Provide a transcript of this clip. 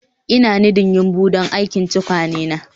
Ina nidding yumbu don aikin tukwane na